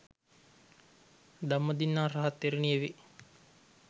ධම්මදින්නා රහත් තෙරණිය වේ.